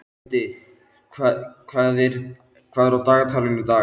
Edith, hvað er á dagatalinu í dag?